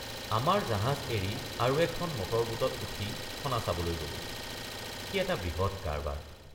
আমাৰ জাহাজ এৰি আৰু এখন মটৰবোটত উঠি খনা চাবলৈ গলোঁ সি এটা বৃহৎ কাৰবাৰ।